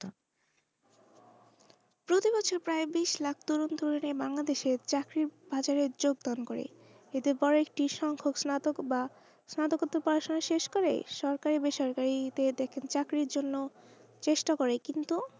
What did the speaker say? প্রায় বিসলাখ বাংলাদেশের চাকরির বাজারে যোগ দান করে এতে বোরো একটি সংখ সানাতক পড়াশোনা শেষ করে সরকারি বেসরকারিতে চাকরির জন্য চেষ্টা করে কিন্তু,